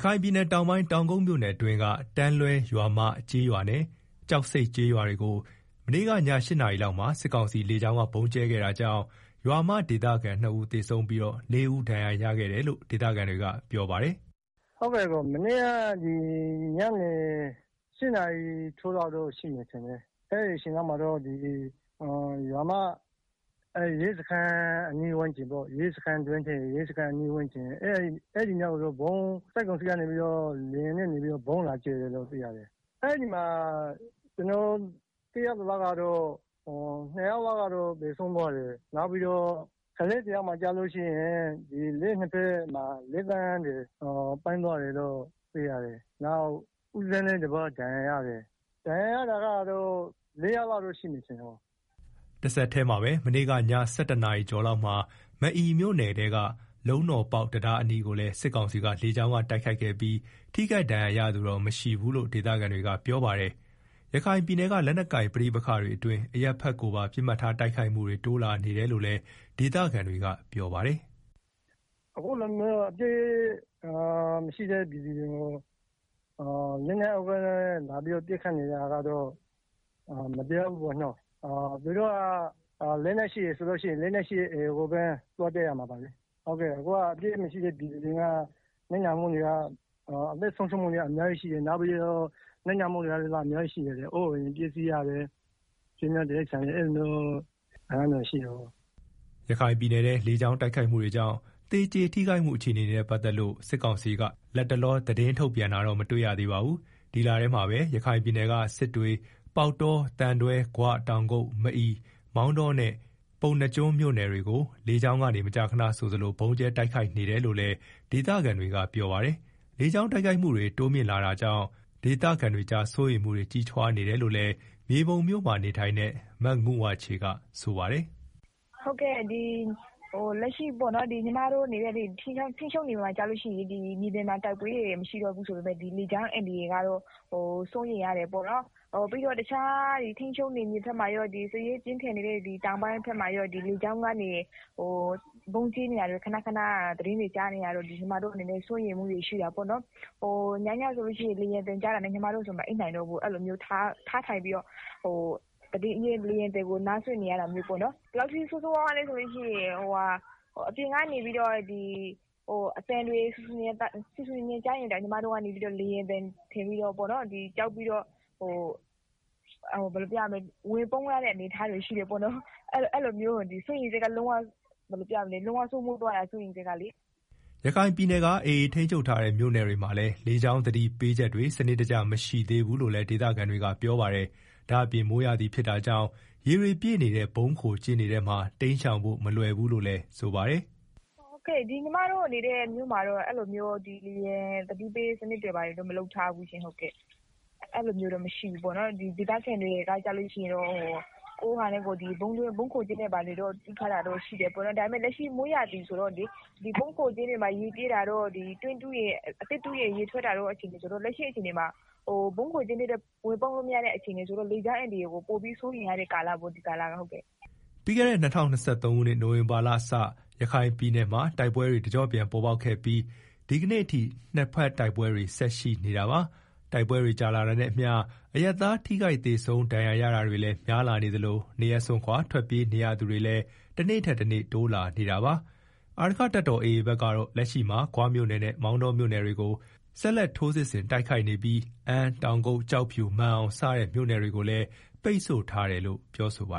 ခိုင်ပြည်နယ်တောင်ပိုင်း တောင်ကုတ်မြို့နယ်အတွင်းက တန်းလွဲရွာမ ကျေးရွာနဲ့ ကျောက်ဆိပ်ကျေးရွာတွေကို မနေ့ကည ၈နာရီလောက်မှာ စစ်ကောင်စီလေကြောင်းက ဗုံးကြဲခဲ့တာကြောင့် ရွာမဒေသခံ ၂ဦးသေဆုံးပြီးတော့ ၄ ဦးဒဏ်ရာရရှိခဲ့တယ်လို့ ဒေသခံတွေက ပြောပါတယ်။ “ မနေ့က ညနေ ၈နာရီထိုးလောက်တော့ရှိမယ်ထင်တယ်၊အဲဒီအချိန်လောက်မှာတော့ ရွာမ ရဲစခန်း အနီးဝန်းကျင်ကို စစ်ကောင်စီက လေယာဉ်နဲ့ဗုံးလာကြဲတယ်၊ အဲဒီမှာ ကျနော်သိရ သလောက် နှစ်ယောက်သေဆုံးပြီးတော့ ကလေးတယောက်မှာ လက်ချောင်းတွေပြတ်သွားတယ်၊ နောက် ဦးဇင်းတပါး ဒဏ်ရာရတယ်၊ ဒဏ်ရာရတာ ၄ ယောက်လောက် ရှိမယ် ထင်တယ်။” တဆက်တည်းမှာပဲ မနေ့က ည ၁၁ နာရီကျော်လောက်မှာ မအီမြို့နယ်က လုံးတော်ပေါက် တံတားအနီးကိုလည်း စစ်ကောင်စီလေကြောင်းက တိုက်ခိုက်ခဲ့ပြီး ထိခိုက်ဒဏ်ရာရသူတော့ မရှိဘူးလို့လည်း ဒေသခံတွေကပြောပါတယ်။ ရခိုင်ပြည်နယ်က လက်နက်ကိုင် ပဋိပက္ခတွေအတွင်း အရပ်ဖက်ကိုပါ ပစ်မှတ်ထား တိုက်ခိုက်မှုတွေ တိုးလာနေတယ်လို့လည်း ဒေသခံတွေက ပြောပါတယ်။ “ အခုလိုမျိုး လက်နက်မရှိတဲ့ ပြည်သူတွေကို လက်နက်အားကိုးနဲ့ လာပြီးတော့ပစ်ခတ်နေ တာ ကတော့ မတရားဘူးပေါ့နော်၊ သူတို့က လက်နက်ရှိတယ်ဆိုရင် လက်နက် ရှိတဲ့ AAကိုပဲ သွားတိုက်ရမှာလေ အခုက အပြစ်မရှိတဲ့ ပြည်သူတွေ အသက်ဆုံးရှုံးမှုတွေ အများကြီးရှိတယ်၊ အိုးအိမ်တွေ ပျက်စီးရတယ် အဲလို ဆုံးရှုံးနစ်နာတာတွေရှိတယ်။” ရခိုင်ပြည်နယ်မှာ လေကြောင်းတိုက်ခိုက်မှုတွေကြောင့် သေကျေထိခိုက်မှု အခြေအနေနဲ့ ပတ်သက်လို့ စစ်ကောင်စီက လတ်တလော သတင်းထုတ်ပြန်တာတော့ မတွေ့ရသေးပါဘူး။ ဒီလထဲမှာပဲ ရခိုင်ပြည်နယ်က စစ်တွေ ပေါက်တော သံတွဲ ဂွ တောင်ကုတ် မအီ မောင်တော နဲ့ ပုဏ္ဏားကျွန်းမြို့နယ်တွေကို လေကြောင်းကနေမကြာခဏဆိုသလို ဗုံးကြဲတိုက်ခိုက်နေတယ်လို့လည်း ဒေသခံတွေက ပြောပါတယ်။ လေကြောင်းတိုက်ခိုက်မှုတွေ တိုးမြှင့်လာနေတာကြောင့် ဒေသခံတွေကြား စိုးရိမ်မှုတွေ ကြီးထွားလာနေတယ်လို့လည်း မြေပုံမြို့မှာနေထိုင်တဲ့ မငုဝါချေက ပြောပါတယ်။ “ အခု ညီမတို့နေတဲ့ ထိန်းချုပ်နယ်မြေမှာ ဆိုလို့ရှိရင် မြေပြင်မှာ တိုက်ပွဲတွေ မရှိတော့ဘူး ဆိုပေမယ့် လေကြောင်းအန္တရာယ်ကတော့ စိုးရိမ်ရတယ်ပေါ့နော်၊ ပြီးတော့ တခြား ထိန်းချုပ် နယ်မြေဘက်မှာရော စစ်ရေးပြင်းထန်နေတဲ့ တောင်ပိုင်းဘက်မှာရော လေကြောင်းကနေ ဗုံးကြဲနေတာ ခဏခဏသတင်းတွေကြားနေရတော့ ညီမတို့အနေနဲ့ စိုးရိမ်မှုတွေ ရှိတာ ပေါ့နော်၊ ညညဆိုရင် လေယာဉ်သံကြားတာနဲ့ မအိပ်နိုင်တော့ဘူး၊ထထိုင်ပြီး တော့ လေယာဉ်သံကို နားစွင့်နေရတာမျိုးပေါ့နော်၊ ဘယ်လောက်ထိဆိုးဆိုးရွားရွားလဲဆိုရင် အပြင်က ဆူဆူညံညံသံကြားရင်တောင် ကြောက်ပြီးတော့ ဝင်ပုန်းရတဲ့ အနေအထားရှိတယ်။ စိုးရိမ်စိတ်ကဘယ်လိုပြောရမလဲ လုံးဝစိုးမိုး သွားတာ စိုးရိမ်စိတ်ကလေ။” ရခိုင်ပြည်နယ်က AAထိန်းချုပ်ထားတဲ့ မြို့နယ်တွေမှာလည်းလေကြောင်းသတိပေးချက်တွေ စနစ်တကျမရှိသေးဘူးလို့ဒေသခံတွေကပြောပါတယ်။ ဒါ့အပြင် မိုးရာသီဖြစ်တာကြောင့် ရေတွေပြည့်နေတဲ့ ဗုံးခိုကျင်းတွေမှာ တိမ်းရှောင်ဖို့ မလွယ်ဘူးလို့လည်း ပြောပါတယ်။ “ညီမတို့နေတဲ့ မြို့မှာတော့ လေယာဉ်သတိပေးစနစ်တွေ ဘာတွေတော့ မလုပ်ထားဘူးရှင့်။ ဒေသခံတွေကတော့ ကိုယ်ဟာနဲ့ကိုယ် ဗုံးခိုကျင်းတွေ ဘာတွေ တူးထားတာတော့ရှိတယ်၊ ဒါပေမယ့်လက်ရှိ မိုးရာသီဆိုတော့လေ ဗုံးခိုကျင်းတွေမှာ ရေပြည့်နေတာတို့ တွင်း အသစ်တူး ရင် ရေထွက်တို့ ရှိနေတော့ လက်ရှိမှာ ဗုံးခိုကျင်းထဲတောင် ဝင်ပုန်းလို့မရတဲ့ အနေအထား ဆိုတော့ လေကြောင်းအန္တရာယ်ကို အရမ်းစိုးရိမ်ရတဲ့ ကာလပေါ့ ဒီကာလကလေ။” ပြီးခဲ့တဲ့ ၂၀၂၃ခုနှစ် နိုဝင်ဘာလကစ ရခိုင်ပြည်နယ်မှာ တိုက်ပွဲတွေ တကျော့ပြန် ပေါ်ပေါက်ခဲ့ပြီး၊ ဒီကနေ့အထိ နှစ်ဘက်တိုက်ပွဲတွေဆက်ရှိနေတာပါ။ တိုက်ပွဲတွေကြာ လာတာနဲ့အမျှ အရပ်သားထိခိုက်သေဆုံး ဒဏ်ရာရတာတွေလည်း များလာနေသလို နေရပ်စွန့်ခွာထွက်ပြေးနေရသူတွေလည်း တနေ့ထက်တနေ့ တိုးလာနေတာပါ။ အာရက္ခတပ်တော်AAဘက်ကတော့ လက်ရှိမှာ ဂွမြို့နယ်နဲ့ မောင်တောမြို့နယ်တွေကို ဆက်လက် ထိုးစစ်ဆင်တိုက်ခိုက်နေပြီး အမ်း တောင်ကုတ် ကျောက်ဖြူ မာန်အောင်စတဲ့ မြို့နယ်တွေကိုလည်း ပိတ်ဆို့ထားတယ်လို့ ပြောဆိုထားပါ